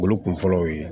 Olu kun fɔlɔ ye